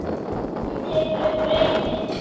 Hún tekur upp reipið.